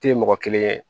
Tɛ mɔgɔ kelen ye